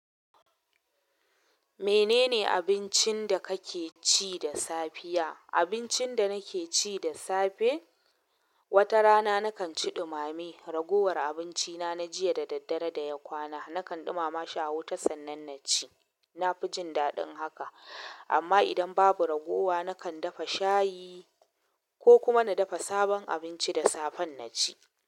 Menene abincin da kake ci da safiya? Abincin da nake ci da safe, wata rana na kan ci ɗumame. Ragowar abinci na na jiya da daddare da ya kwana, na kan ɗumama shi a wuta sannan na ci. Na fi jin daɗin haka. Amma idan babu ragowa, na kan dafa shayi ko kuma na dafa sabon abinci da safen na ci.